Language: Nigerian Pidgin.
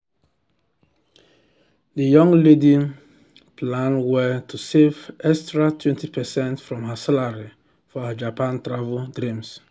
the young lady plan well to save extra 20 percent from her salary for her japan travel dream.